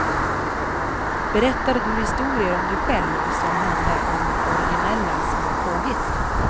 Berättar du historier om dig själv, som handlar om originella små påhitt.